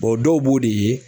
Bɔn dɔw b'o de ye